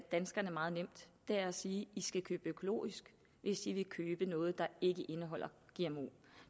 danskerne meget nem det er at sige i skal købe økologisk hvis i vil købe noget der ikke indeholder gmo